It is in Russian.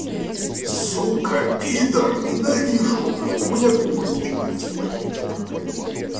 сука пидр ненавижу у меня кухня четыре с половиной метра блядь